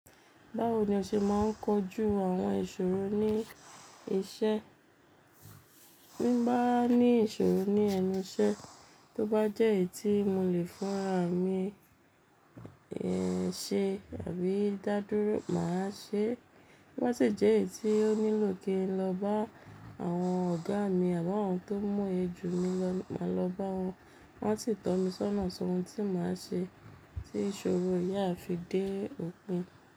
Báwo ni o ṣe máa ń kojú àwọn ìṣòro ní iṣẹ́? Bí bá ní ìṣòro ní ẹnu iṣẹ́, tó bá jẹ́ èyí tí mo lè fún ara mi ṣe àbí dá dúró, màá ṣe. Bo ba sì jẹ́ èyí tí ó nílò kí n lọ bá àwọn ọ̀gá mi, àbí àwọn tó múye jù mí lọ, màá lọ bá wọn. Wọ́n sì tọ́ mi sọ́nà sọ́hun tí màá ṣe, tí ìṣòro yen a fi dé òpin.